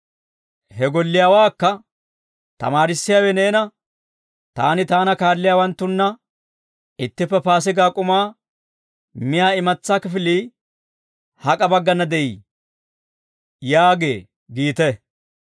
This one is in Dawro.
He golliyaawaakka, ‹Tamaarissiyaawe neena, «Taani, taana kaalliyaawanttunna ittippe Paasigaa k'umaa miyaa imatsaa kifilii hak'a baggana de'ii?» yaagee› giite.